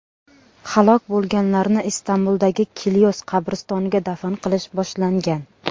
Halok bo‘lganlarni Istanbuldagi Kilyos qabristoniga dafn qilish boshlangan.